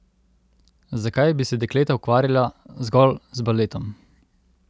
Zakaj bi se dekleta ukvarjala zgolj z baletom?